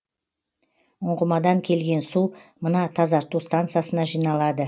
ұңғымадан келген су мына тазарту стансасына жиналады